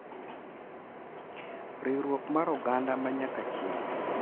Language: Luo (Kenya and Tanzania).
Riwruok mar oganda ma nyaka chieng'